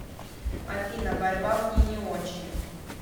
афина борьба мне не очень